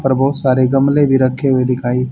पर बहुत सारे गमले भी रखे हुए दिखाई--